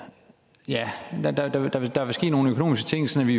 der vil ske nogle økonomiske ting så vi